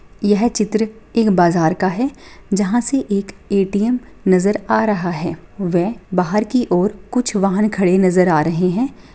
यह चित्र एक बाजार का हैजहां से एक ए_टी_एम नजर आ रहा है वे बाहर की और कुछ वाहन खड़े नजर आ रहे हैं।